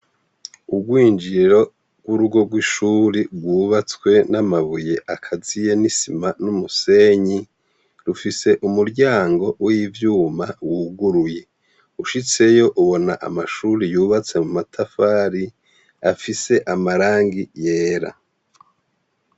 Urwinjiriro rw'urugo rw'ishure rw'ubatswe n'amabuye akaziye n'isima n'umusenyi, rufise umuryango w'ivyuma wuguruye, ushitseyo ubona amashure yubatse mu matafari afise amarangi yera.